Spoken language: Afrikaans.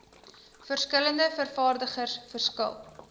verskillende vervaardigers verskil